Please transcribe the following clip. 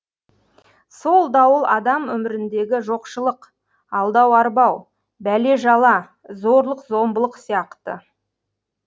сол дауыл адам өміріндегі жоқшылық алдау арбау бәле жала зорлық зомбылық сияқты